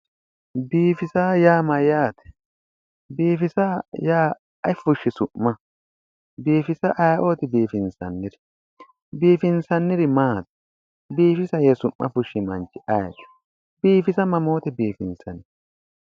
biifisa yaa mayyaate? biifisa yaa ayi fushshi su'ma ?biifisa ayeeooti biifinsanniri? biifinsanniri maati? biifisa yee su'm fushshi manchi ayeeti? biifisa mamoote biifinsanni?